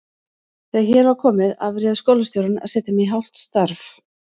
Þegar hér var komið afréð skólastjórnin að setja mig í hálft starf.